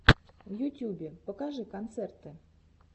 в ютюбе покажи концерты